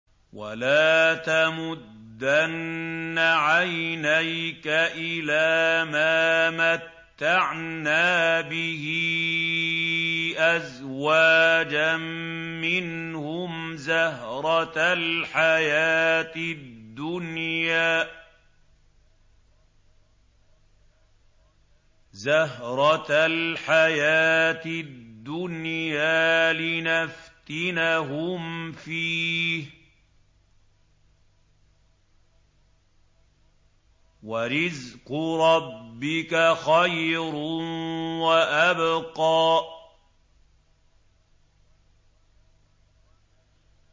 وَلَا تَمُدَّنَّ عَيْنَيْكَ إِلَىٰ مَا مَتَّعْنَا بِهِ أَزْوَاجًا مِّنْهُمْ زَهْرَةَ الْحَيَاةِ الدُّنْيَا لِنَفْتِنَهُمْ فِيهِ ۚ وَرِزْقُ رَبِّكَ خَيْرٌ وَأَبْقَىٰ